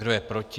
Kdo je proti?